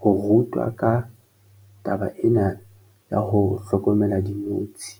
ho rutwa ka taba ena ya ho hlokomela dinotshi.